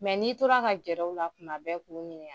n'i tora ka gɛrɛ u la tuma bɛɛ k'u ɲiniŋa